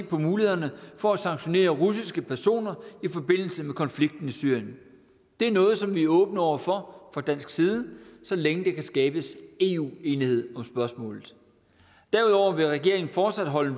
på mulighederne for at sanktionere russiske personer i forbindelse med konflikten i syrien det er noget som vi er åbne over for fra dansk side så længe der kan skabes eu enighed om spørgsmålet derudover vil regeringen fortsat holde